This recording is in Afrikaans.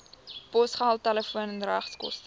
posgeld telefoon regskoste